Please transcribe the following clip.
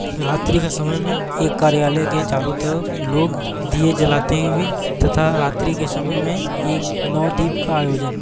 रात्रि के समय में एक कार्यालय के चारों तरफ लोग दिए जलते हुए तथा रात्रि के समय में एक नवदीप का आयोजन।